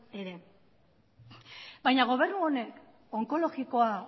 ere baina gobernu honek onkologikoa